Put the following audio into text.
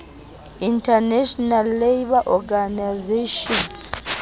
international labour organization